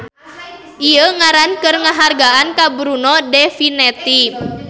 Ieu ngaran keur ngahargaan ka Bruno de Finetti.